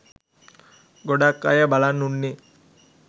ගොඩක් අය බලන් උන්නේ